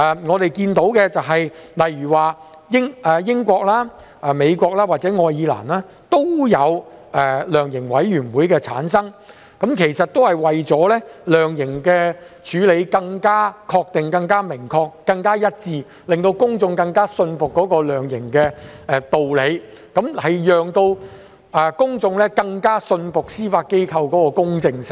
我們看到英國、美國或愛爾蘭也有設立量刑委員會，其實也是為了量刑處理可以更確切、明確和一致，讓公眾更信服量刑的道理、更信服司法機構的公證性。